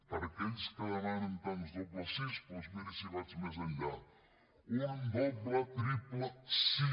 per a aquells que demanen tants dobles sís doncs mirin si vaig més enllà un doble triple sí